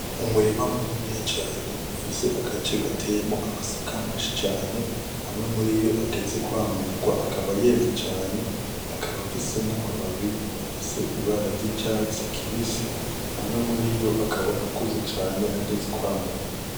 Umurima muniniya cane ufise agace gateyemwo amasaka menshi cane, amwe muriyo ageze kwamurwa, akaba yeze cane akaba afise n'amababi afise ibara ry'icatsi kibisi, amwe muriyo akaba akuze cane ageze kwamurwa.